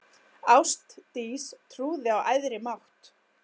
Ástdís trúði á æðri mátt.